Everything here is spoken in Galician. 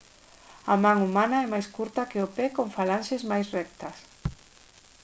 a man humana é máis curta que o pé con falanxes máis rectas